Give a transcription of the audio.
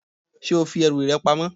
Ṣé o fi ẹrù rẹ pamọ?